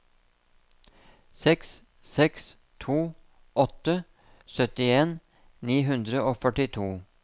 seks seks to åtte syttien ni hundre og førtito